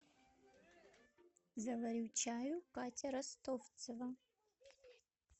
заварю чаю катя ростовцева